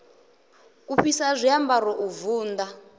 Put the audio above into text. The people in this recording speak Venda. u fhisa zwiambaro u vunḓa